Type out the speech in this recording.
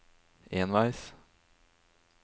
enveis